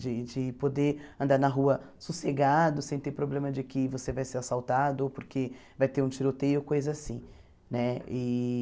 De de poder andar na rua sossegado, sem ter problema de que você vai ser assaltado, ou porque vai ter um tiroteio, coisa assim né e.